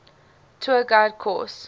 tour guide course